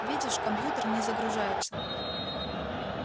видишь компьютер не загружается